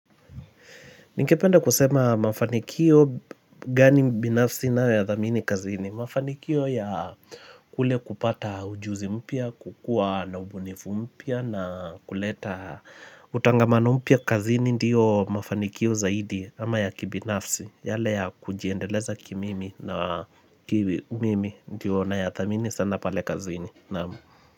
Ningependa kusema mafanikio gani binafsi nayo thamini kazini. Mafanikio ya kule kupata ujuzi mpya, kukuwa na ubunifu mpya na kuleta. Utangamano mpya kazini ndiyo mafanikio zaidi ama ya kibinafsi. Yale ya kujiendeleza kimimi na mimi ndiyo nayathamini sana pale kazini. Naam.